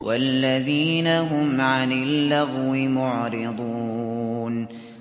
وَالَّذِينَ هُمْ عَنِ اللَّغْوِ مُعْرِضُونَ